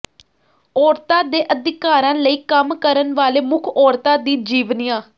ਔਰਤਾਂ ਦੇ ਅਧਿਕਾਰਾਂ ਲਈ ਕੰਮ ਕਰਨ ਵਾਲੇ ਮੁੱਖ ਔਰਤਾਂ ਦੀ ਜੀਵਨੀਆਂ